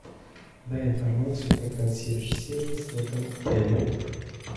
дай информацию про консьерж сервис в этом отеле